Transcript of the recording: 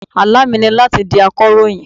Àlá mi ni láti di akọ̀ròyìn.